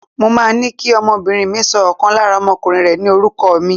Mo máa ní kí ọmọbìnrin mi sọ ọ̀kan lára ọmọkùnrin rẹ̀ ní orúkọ mi.